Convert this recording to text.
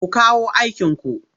Ku kawo aikinku!